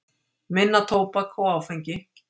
Minna tóbak og áfengi